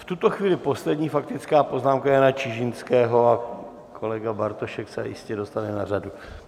V tuto chvíli poslední faktická poznámka Jana Čižinského a kolega Bartošek se jistě dostane na řadu.